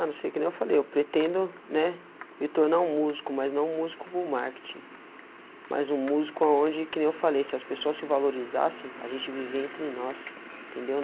Ah, não sei o que nem eu falei, eu pretendo, né, me tornar um músico, mas não um músico bullmarketing, mas um músico aonde que nem eu falei, se as pessoas se valorizassem, a gente vive entre nós, entendeu?